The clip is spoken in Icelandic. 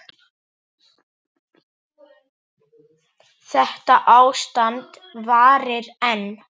Þetta ástand varir enn.